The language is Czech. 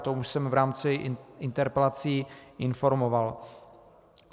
O tom už jsem v rámci interpelací informoval.